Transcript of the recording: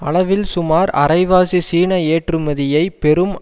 அளவில் சுமார் அரைவாசி சீன ஏற்றுமதியை பெறும்